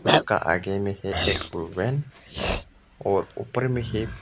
उसका आगे में एक और ऊपर में एक--